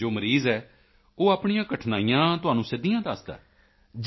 ਅਤੇ ਜੋ ਮਰੀਜ਼ ਹੈ ਉਹ ਆਪਣੀਆਂ ਕਠਿਨਾਈਆਂ ਤੁਹਾਨੂੰ ਸਿੱਧੀਆਂ ਦੱਸਦਾ ਹੈ